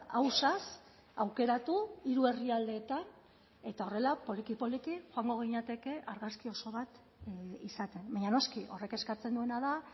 ausaz aukeratu hiru herrialdeetan eta horrela poliki poliki joango ginateke argazki oso bat izaten baina noski horrek eskatzen duena da